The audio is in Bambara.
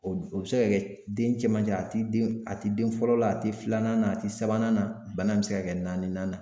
O o be se ka kɛ den cɛmancɛ a tɛ den a tɛ den fɔlɔ la a te filanan na a te sabanan na .Bana be se ka kɛ naaninan na.